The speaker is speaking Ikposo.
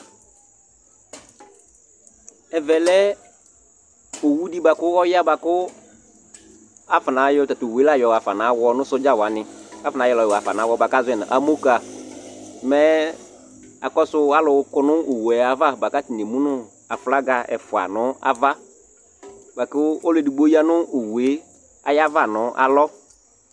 awɔ wu dɩ lanutɛ ya, mɛ alu kɔ nʊ owu yɛ ava, kʊ atani emu nʊ aflaga ɛfua nʊ ava, ɔlu edigbo ya nʊ owu yɛ ava nʊ alɔ